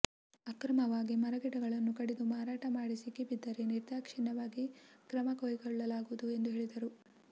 ಅಕ್ರಮವಾಗಿ ಮರಗಿಡಗಳನ್ನು ಕಡಿದು ಮಾರಾಟ ಮಾಡಿ ಸಿಕ್ಕಿಬಿದ್ದರೆ ನಿರ್ದಾಕ್ಷಿಣ್ಯವಾಗಿ ಕ್ರಮಕೈಗೊಳ್ಳಲಾಗುವುದು ಎಂದು ಹೇಳಿದರು